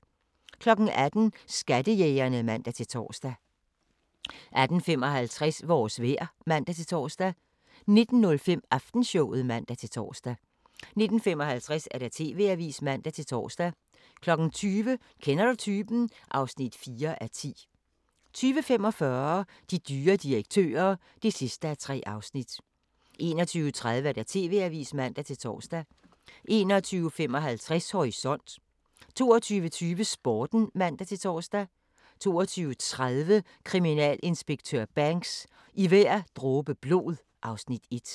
18:00: Skattejægerne (man-tor) 18:55: Vores vejr (man-tor) 19:05: Aftenshowet (man-tor) 19:55: TV-avisen (man-tor) 20:00: Kender du typen? (4:10) 20:45: De dyre direktører (3:3) 21:30: TV-avisen (man-tor) 21:55: Horisont 22:20: Sporten (man-tor) 22:30: Kriminalinspektør Banks: I hver dråbe blod (Afs. 1)